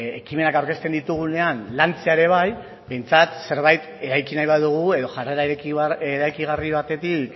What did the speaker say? ekimenak aurkezten ditugunean lantzea ere bai behintzat zerbait eraiki nahi badugu edo jarrera eraikigarri batetik